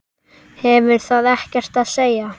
Hefur það ekkert að segja?